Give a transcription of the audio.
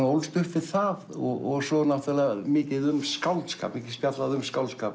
ólst upp við það og svo náttúrulega mikið um skáldskap mikið spjallað um skáldskap